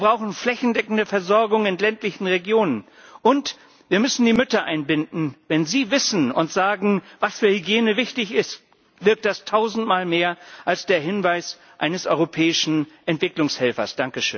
Wir brauchen eine flächendeckende Versorgung in ländlichen Regionen, und wir müssen die Mütter einbinden. Wenn sie wissen und sagen, was für Hygiene wichtig ist, wirkt das tausendmal mehr als der Hinweis eines europäischen Entwicklungshelfers.